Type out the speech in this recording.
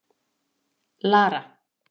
Lara